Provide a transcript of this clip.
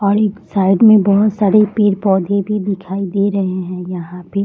और एक साइड में बहुत सारे पेड़-पौधे भी दिखाई दे रहे हैं यहां पे।